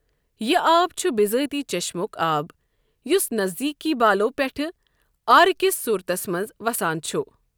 یہِ آب چُھ بِذٲتی چیٚشمُک آب، یُس نزدیٖکی بالَو پیٚٹھہٕ آرٕ کِس صوٗرتس منٛز وَسان چُھ۔